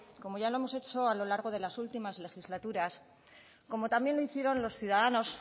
como ya lo hemos hecho a lo largo de las últimas legislaturas como también lo hicieron los ciudadanos